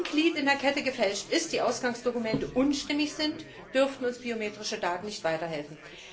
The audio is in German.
Wenn also ein Glied in der Kette gefälscht ist und die Ausgangsdokumente unstimmig sind, dürften uns biometrische Daten nicht weiterhelfen.